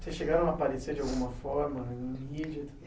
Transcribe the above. Vocês chegaram a aparecer de alguma forma na mídia?